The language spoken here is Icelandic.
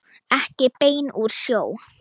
Ekki bein úr sjó.